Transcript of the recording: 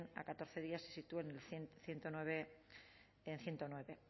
a catorce días se situó en ciento nueve en ehun eta bederatzi